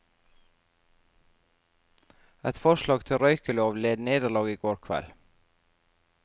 Et forslag til røykelov led nederlag i går kveld.